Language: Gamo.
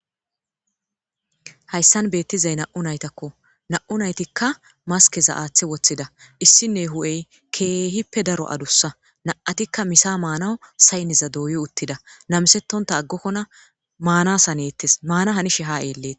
Hayssan beettizay na'u naytakko na'u naytikka maskeza aaththe woththida issinne hu'ey keehippe daro adussa na7atikka misa maanaw saynneza dooyi uttida namisettonta aggokkona maana saneettes maana hanishe ha'eeleet.